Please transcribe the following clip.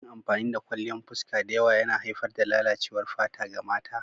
Yin amfani da kwalliyan fuska da yawa yana haifar da lalacewar fata ga mata.